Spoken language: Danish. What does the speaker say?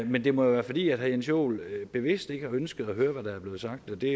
men det må være fordi herre jens joel bevidst ikke har ønsket at høre hvad der er blevet sagt og det